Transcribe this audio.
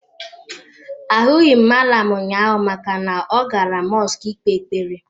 Ahụghị m mallam ụnyaahụ maka na ọ gara mọsk ị kpee ekpere.